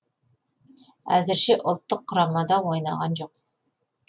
әзірше ұлттық құрамада ойнаған жоқ